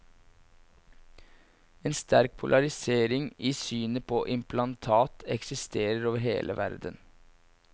En sterk polarisering i synet på implantat eksisterer over hele verden.